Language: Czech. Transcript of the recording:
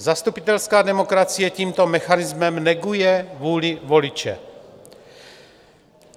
Zastupitelská demokracie tímto mechanismem neguje vůli voliče.